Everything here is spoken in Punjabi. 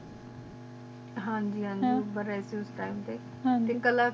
ਹਨ ਜ ਹਨ ਜੀ ਉਮਰ ਰੇ ਸੀ ਉਸ ਟੀਮੇ ਤੇ